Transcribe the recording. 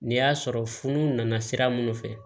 N'i y'a sɔrɔ funu nana sira minnu fɛ